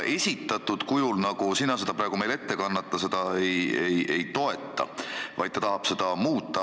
Sellisena, nagu sina seda meile praegu ette kannad, valitsus seda ei toeta, vaid tahab muuta.